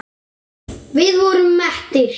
Við vorum mettir.